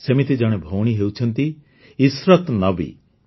ସେମିତି ଜଣେ ଭଉଣୀ ହେଉଛନ୍ତି ଇଶରତ୍ ନବୀ